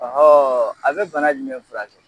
Ɔhɔn, a be bana jumɛn furakɛ?